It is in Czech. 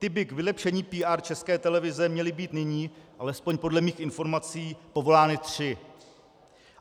Ty by k vylepšení PR České televize měly být nyní, alespoň podle mých informací, povolány tři.